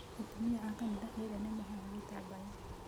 Atumia a kanitha ĩrĩa nĩ mohaga gĩtambaya.